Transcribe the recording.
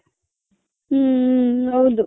ಹ್ಮ್ ಹ್ಮ್ ಹ್ಮ್ ಹೌದು .